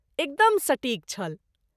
एकदम सटीक छल।